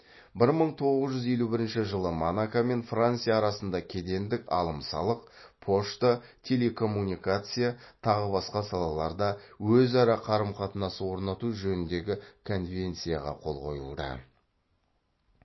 бір мың тоғыз жүз елу бірінші жылы монако мен франция арасында кедендік алым салық пошта телекоммуникация тағы басқа салаларда өзара қарым қатынас орнату жөніндегі конвенцияға қол қойылды